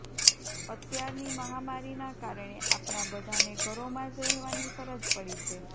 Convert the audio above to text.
અત્યારની મહામારીના કારણે આપણા બધાને ઘરોમાં જ રહેવાની ફરજ પડી છે